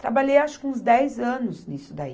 Trabalhei, acho, que uns dez anos nisso daí.